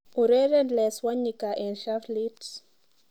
Ureren Les Wanyika eng shufflit